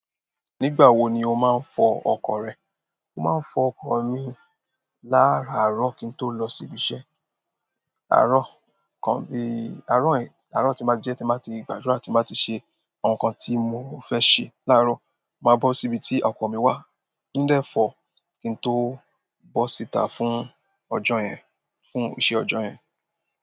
Nígbà wo ni o máa ń fọ ọkọ̀ rẹ? Mo máa ń fọ ọkọ̀ mi láàárọ̀ kí n tó lọ síbi iṣẹ́. Àárọ̀ kan bí i, àárọ̀ yìí, àárọ̀ tí mo di ẹ́ tí mo bá ti gbàdúrà, tí mo bá ti ṣe ǹkan tí mo fẹ́ ṣe láàárọ̀, màá bọ́ síbi tí ọkọ̀ mi wà ndẹ̀ fọ kí n tó bọ́ síta fún ọjọ́ yẹn, fún iṣẹ́ ọjọ́ yẹn.